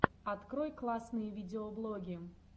открой классные видеоблоги